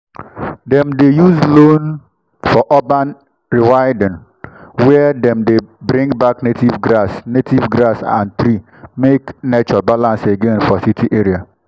dem dey use loam for urban rewilding where dem dey bring back native grass native grass and tree make nature balance again for city area.